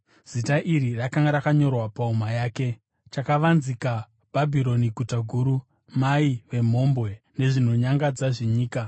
Zita iri rakanga rakanyorwa pahuma yake: chakavanzika bhabhironi guta guru mai vemhombwe nezvinonyangadza zvenyika